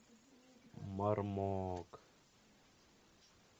мармок